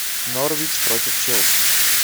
норвич против челси